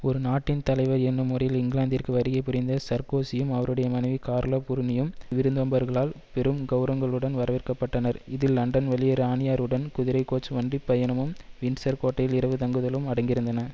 ஒரு நாட்டின் தலைவர் என்னும் முறையில் இங்கிலாந்திற்கு வருகை புரிந்த சர்க்கோசியும் அவருடைய மனைவி கார்லா புருனியும் விருந்தோம்பர்களால் பெரும் கெளரவங்களுடன் வரவேற்கப்பட்டனர் இதில் லண்டன் வழியே இராணியாருடன் குதிரை கோச் வண்டி பயணமும் வின்சர் கோட்டையில் இரவு தங்குதலும் அடங்கியிருந்தன